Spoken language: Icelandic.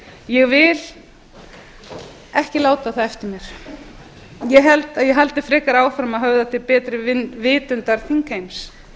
ég vil ekki láta það eftir mér ég held að ég haldi heldur áfram að höfða til betri vitundar þingheims